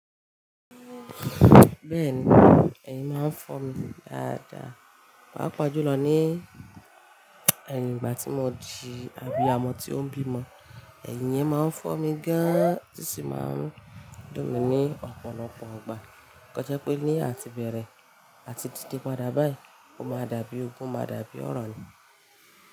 Bẹ́ẹ̀ni, ẹ̀yin máa ń fọ́ mi dáadáa, pàápàá jùlọ ní ẹ̀yìn ìgbà tí mo di àbíamo ti o n bimo ẹ̀yin yẹn máa ń fọ́ mi gán an, ó sì máa ń dùn mí ní ọ̀pọ̀lọpọ̀ 'gba. Kàn jẹ́ pé ní àti bẹ̀rẹ̀ àti dide ípadà báyìí, ó máa dàbí ogun, ó máa dàbí ọ̀ràn ni.